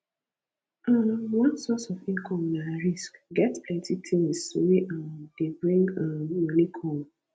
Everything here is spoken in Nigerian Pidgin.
um one source of income na risk get plenty things wey um dey bring um money come